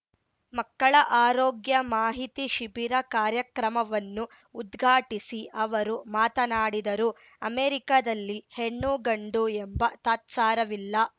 ಮಕ್ಕಳ ಆರೋಗ್ಯ ಮಾಹಿತಿ ಶಿಬಿರ ಕಾರ್ಯಕ್ರಮವನ್ನು ಉದ್ಘಾಟಿಸಿ ಅವರು ಮಾತನಾಡಿದರು ಅಮೆರಿಕದಲ್ಲಿ ಹೆಣ್ಣು ಗಂಡು ಎಂಬ ತಾತ್ಸಾರವಿಲ್ಲ